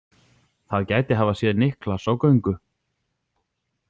Það gæti hafa séð Niklas á göngu.